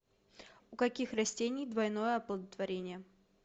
у каких растений двойное оплодотворение